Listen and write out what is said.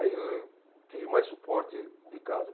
Aí eu tive mais suporte de casa.